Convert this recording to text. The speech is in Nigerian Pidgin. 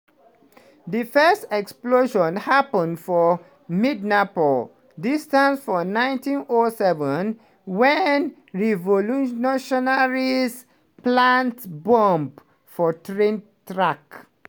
di first explosion happun for midnapore distantt for 1907 wen revolutionaries plant bomb for train track